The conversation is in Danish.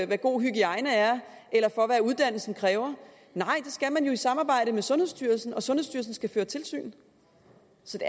hvad god hygiejne er eller for hvad uddannelsen kræver det skal man jo i samarbejde med sundhedsstyrelsen og sundhedsstyrelsen skal føre tilsyn så det er